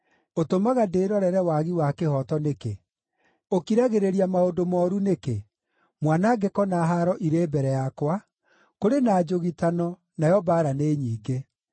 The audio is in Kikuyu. Ũtũmaga ndĩrorere wagi wa kĩhooto nĩkĩ? Ũkiragĩrĩria maũndũ mooru nĩkĩ? Mwanangĩko na haaro irĩ mbere yakwa; kũrĩ na njũgitano, nayo mbaara nĩ nyingĩ.